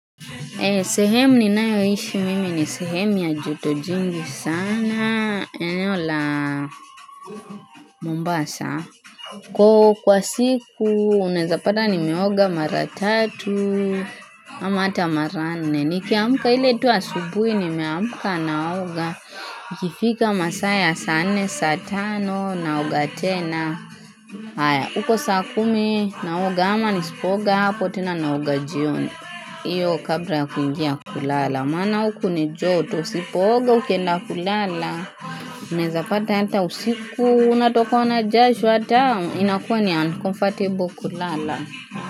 Sehemu ninayoishi mimi ni sehemu ya joto jingi sana, eneo la mombasa. Kwa siku, unaweza pata nimeoga mara tatu ama ata mara nne. Nikiamka ile tu asubuhi, nimeamka naoga. Ikifika masaa ya saa nne, saa tano, naoga tena. Haya, uko saa kumi, naoga ama nisipooga hapo, tena naoga jioni. Iyo kabla ya kuingia kulala maana hiku ni joto sipo oga ukenda kulala Unaweza pata ata usiku Unatokokwa na jasho ata inakuwa ni uncomfortable kulala.